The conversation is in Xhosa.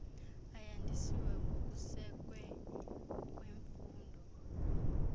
ayandisiwe ngokusekwe kwimfuno